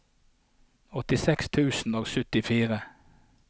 åttiseks tusen og syttifire